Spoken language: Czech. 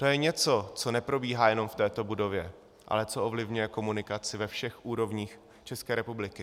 To je něco, co neprobíhá jenom v této budově, ale co ovlivňuje komunikaci ve všech úrovních České republiky.